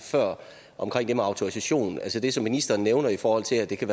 før omkring autorisationen altså det som ministeren nævner i forhold til at det kan